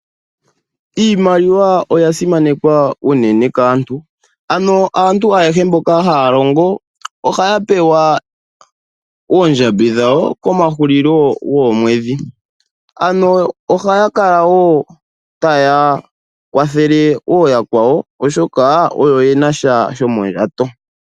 Iimaliwa oya simanekwa unene kaantu, ano aantu ayehe mboka haya longo ohaya pewa oondjambi dhawo komahulilo goomwedhi. Ano ohaya kala wo taya kwathele ooyakwawo oshoka oyo yena sha shomondjato.